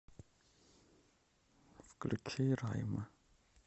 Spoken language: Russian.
включи райма